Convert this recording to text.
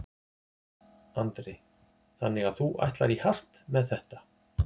Andri: Þannig að þú ætlar í hart með þetta?